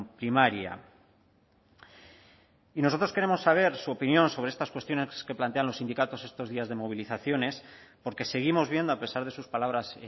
primaria y nosotros queremos saber su opinión sobre estas cuestiones que plantean los sindicatos estos días de movilizaciones porque seguimos viendo a pesar de sus palabras